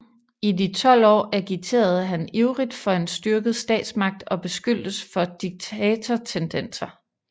I de 12 år agiterede han ivrigt for en styrket statsmagt og beskyldtes for diktatortendenser